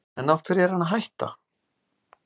En af hverju er hann að hætta?